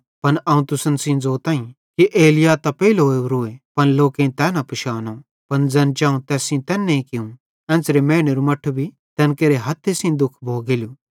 पन अवं तुसन सेइं ज़ोतईं कि एलिय्याह त पेइले ओरोए पन लोकेईं तै न पिशानो पन ज़ैन चाऊ तैस सेइं तैन्ने कियूं एन्च़रे मैनेरू मट्ठू भी तैन केरे हथ्थन सेइं दुःख भोगेलो